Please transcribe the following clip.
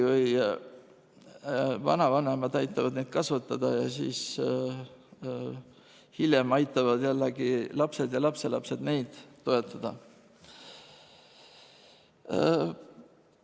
Vanavanemad aitavad neid kasvatada ja siis hiljem aitavad jällegi lapsed ja lapselapsed neid toetada.